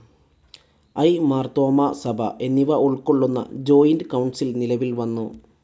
I., Marthoma സഭ എന്നിവ ഉൾക്കൊള്ളുന്ന ജോയിന്റ്‌ കൌൺസിൽ നിലവിൽ വന്നു.